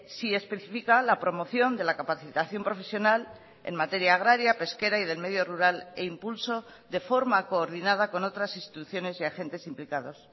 sí especifica la promoción de la capacitación profesional en materia agraria pesquera y del medio rural e impulso de forma coordinada con otras instituciones y agentes implicados